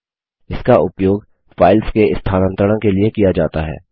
इसका उपयोग फाइल्स के स्थानांतरण के लिए किया जाता है